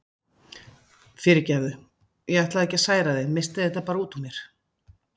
Fyrirgefðu, ég ætlaði alls ekki að særa þig, missti þetta bara út úr mér.